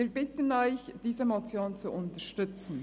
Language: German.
Wir bitten Sie, diese Motion zu unterstützen.